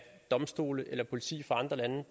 domstole eller politi fra andre lande